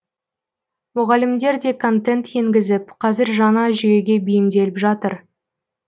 мұғалімдер де контент енгізіп қазір жаңа жүйеге бейімделіп жатыр